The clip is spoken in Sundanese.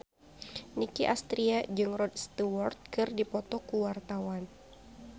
Nicky Astria jeung Rod Stewart keur dipoto ku wartawan